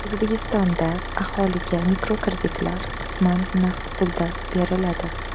O‘zbekistonda aholiga mikrokreditlar qisman naqd pulda beriladi.